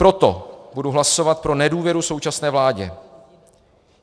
Proto budu hlasovat pro nedůvěru současné vládě.